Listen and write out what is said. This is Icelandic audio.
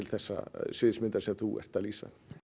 þeirrar sviðsmyndar sem þú ert að lýsa